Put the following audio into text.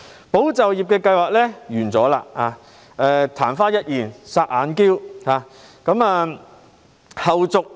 "保就業"計劃已結束，曇花一現，"霎眼嬌"。